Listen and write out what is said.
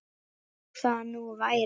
Þó það nú væri!